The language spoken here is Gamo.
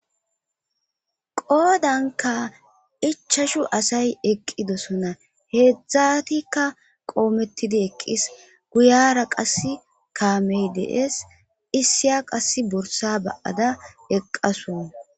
Qoodanka ichashu asay eqqidosona heedzdzatikka qoomettidi eqqis guyara qassi kaamey de7es issiya qassi borssa ba7ada eqqasu.